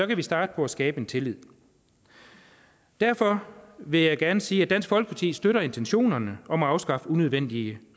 kan vi starte på at skabe tillid derfor vil jeg gerne sige at dansk folkeparti støtter intentionerne om at afskaffe unødvendige